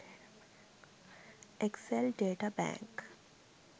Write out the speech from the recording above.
excel data bank